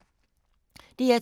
DR2